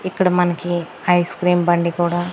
ఇక్కడ మనకి ఐస్క్రీం బండి కూడా.